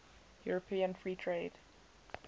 european free trade